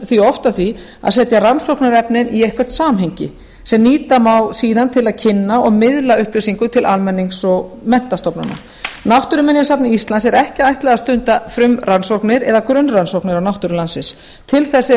því oft að því að setja rannsóknarefnin í eitthvert samhengi sem nýta má síðan til að kynna og miðla upplýsingum til almennings og menntastofnana náttúruminjasafni íslands er ekki ætlað að stunda frumrannsóknir eða grunnrannsóknir á náttúru landsins til þess